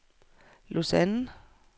Lausanne